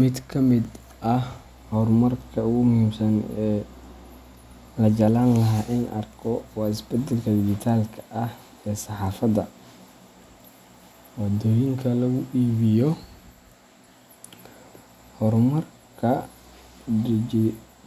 Mid ka mid ah horumarka ugu muhiimsan ee la jeclaan lahaa in la arko waa isbeddelka dijitaalka ah ee saxaafadda waddooyinka lagu iibiyo. Horumarka